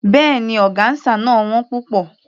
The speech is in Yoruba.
Béèni, ọgáńsà náà ò wón púpọ̀.